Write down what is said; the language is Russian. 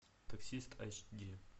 таксист айч ди